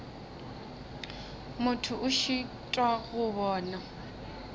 motho a šitwa go bona